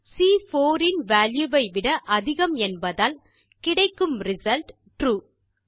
செல் சி4 இன் வால்யூ ஐவிட அதிகம் என்பதால் கிடைக்கும் ரிசல்ட் ட்ரூ